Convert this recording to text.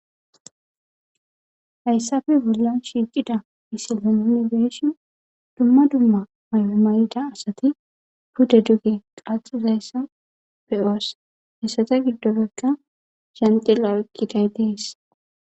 hayssafe bolla shiiqida misilanni be7shin dumma dumma maya mayida asati puda duge qaxizayssa beyoos hessata giddopekka zhanxilla oykkiday dees